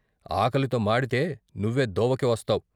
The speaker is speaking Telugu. ఆకలితో మాడితే నువ్వే దోవకి వస్తావ్.